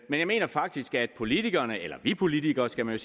men jeg mener faktisk at politikerne eller vi politikere skal man